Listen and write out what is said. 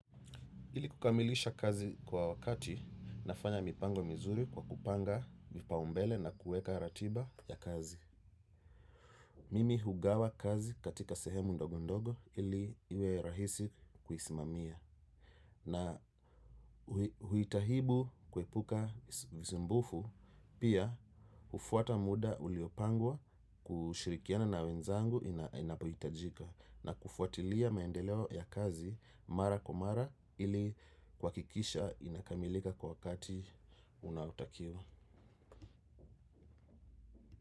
Ili kukamilisha kazi kwa wakati nafanya mipango mizuri kwa kupanga vipaumbele na kueka ratiba ya kazi. Mimi hugawa kazi katika sehemu ndogo ndogo ili iwe rahisi kuisimamia. Na huitahibu kuepuka visumbufu pia ufuata muda uliopangwa kushirikiana na wenzangu inapohitajika. Na kufuatilia maendeleo ya kazi mara kwa mara ili kuakikisha inakamilika kwa wakati unautakiwa.